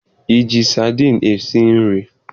Ị ji sadiin esi nri?